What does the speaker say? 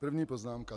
První poznámka.